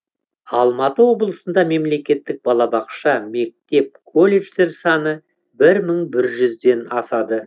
алматы облысында мемлекеттік балабақша мектеп колледждер саны бір мың бір жүзден асады